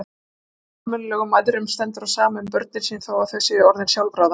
Engum almennilegum mæðrum stendur á sama um börnin sín þó að þau séu orðin sjálfráða.